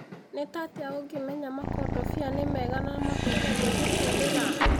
Nĩ tatia ũngĩmenya makondobia nĩ mega na makũrũ ma kũhũthira?